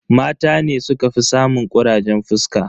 Mata ne sukafi samun kurajen fuska.